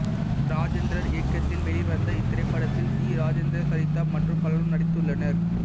ராஜேந்தர் இயக்கத்தில் வெளிவந்த இத்திரைப்படத்தில் டி ராஜேந்தர் சரிதா மற்றும் பலரும் நடித்துள்ளனர்